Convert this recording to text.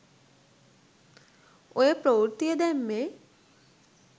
ඔය ප්‍රවෘත්තිය දැම්මේ